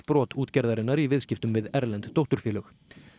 brot útgerðarinnar í viðskiptum við erlend dótturfélög